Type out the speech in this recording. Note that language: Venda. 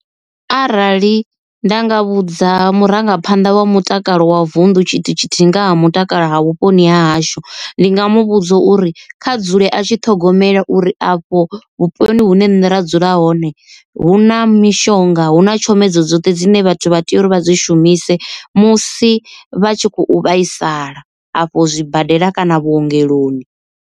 Arali nda nga vhudza murangaphanḓa wa mutakalo wa vunḓu tshithu tshithihi nga ha mutakalo ha vhuponi ha hashu. Ndi nga muvhudza uri kha dzule a tshi ṱhogomela uri afho vhuponi hune nṋe nda dzula hone hu na mishonga hu na tshomedzo dzoṱhe dzine vhathu vha tea uri vha dzi shumise musi vha tshi khou vhaisala afho zwibadela kana vhuongeloni.